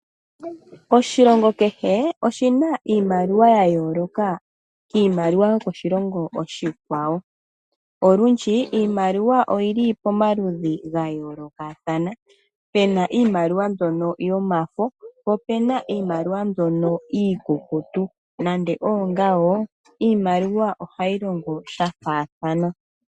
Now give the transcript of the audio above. Oshilongo kehe oshina iimaliwa ya yooloka kiimaliwa yokoshilongo oshikwawo. Olundji iimaliwa oyili pamaludhi ga yoolokathana, puna iimaliwa mbyono yomafo, po opuna iimaliwa mbyono iikukutu, nande oongawo, iimaliwa ohayi longo sha faathana.